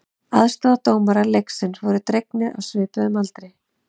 Aðstoðardómarar leiksins voru drengir á svipuðum aldri.